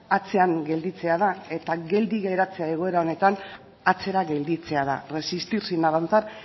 atzean gelditzea da eta geldi geratzea egoera honetan atzera gelditzea da resistir sin avanzar